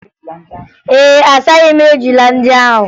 Mba, asaghị m ejula ndị ahụ